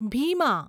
Bhima